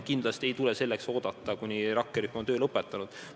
Kindlasti ei tule selleks oodata, kuni rakkerühm on töö lõpetanud.